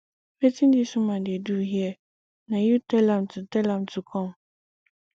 wetin dis woman dey do here na you tell am to tell am to come